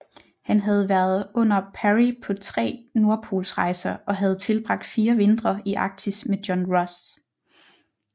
Han havde været under Parry på 3 nordpolsrejser og havde tilbragt 4 vintre i Arktis med John Ross